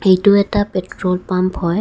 এইটো এটা petrol pump হয়.